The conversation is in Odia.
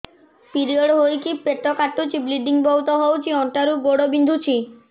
ପିରିଅଡ଼ ହୋଇକି ପେଟ କାଟୁଛି ବ୍ଲିଡ଼ିଙ୍ଗ ବହୁତ ହଉଚି ଅଣ୍ଟା ରୁ ଗୋଡ ବିନ୍ଧୁଛି